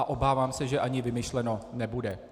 A obávám se, že ani vymyšleno nebude.